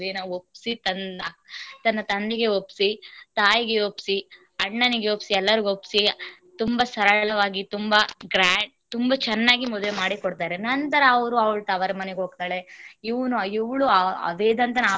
ಅಕ್ಕನ ಮದುವೇನ ಒಪ್ಪಸಿ ತನ್ನ ತಂದಗೆ ಒಪ್ಪಸಿ, ತಾಯಿಗೆ ಒಪ್ಪಸಿ, ಅಣ್ಣ ನಿಗೆ ಒಪ್ಪಸಿ, ಎಲ್ಲಾರಗು ಒಪ್ಪಸಿ ತುಂಬಾ ಸರಳವಾಗಿ ತುಂಬಾ grand ತುಂಬಾ ಚೆನ್ನಾಗಿ ಮದುವೆ ಮಾಡಿ ಕೊಡ್ತಾರೆ. ನಂತರ ಅವಳು ಅವರ ತವರ ಮನೆಗೆ ಹೋಗ್ತಾಳೆ ಇವ~ ಇವಳು ವೇದಾಂತನ.